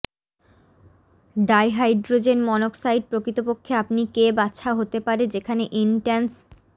dihydrogen monoxide প্রকৃতপক্ষে আপনি কে বাছা হতে পারে যেখানে ইনস্ট্যান্স